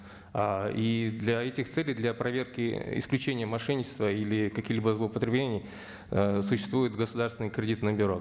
а и для этих целей для проверки исключения мошенничества или каких либо злоупотреблений ыыы существует государственное кредитное бюро